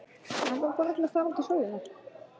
Mig langar bara til að fara út í sólina.